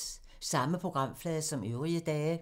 Samme programflade som øvrige dage